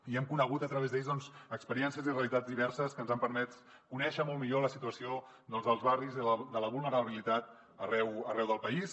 i hem conegut a través d’ells experiències i realitats diverses que ens han permès conèixer molt millor la situació dels barris i de la vulnerabilitat arreu del país